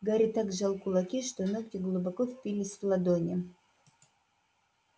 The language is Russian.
гарри так сжал кулаки что ногти глубоко впились в ладони